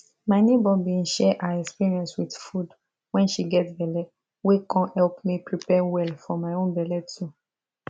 my neighbor bin share her experience with food wen she get belle wey con help me prepare well for my own belle too